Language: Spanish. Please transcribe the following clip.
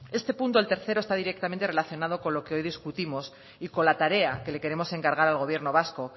este punto el tercero está directamente relacionado con lo que hoy discutimos y con la tarea que le queremos encargar al gobierno vasco